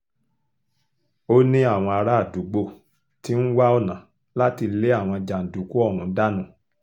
ó ní àwọn àràádúgbò ti ń wá ọ̀nà láti lé àwọn jàǹdùkú ọ̀hún dànù